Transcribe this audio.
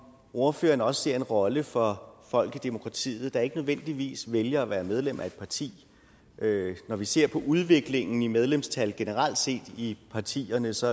ordføreren også ser en rolle for folk i demokratiet der ikke nødvendigvis vælger at være medlem af et parti når vi ser på udviklingen i medlemstal generelt set i partierne så